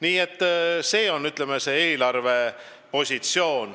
Selline on meie eelarvepositsioon.